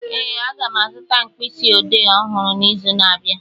Ee, aga m azụta mkpịsị odee ọhụrụ n'izu na-abịa